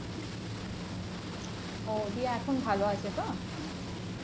দিয়ে এখন ভালো আছে তো?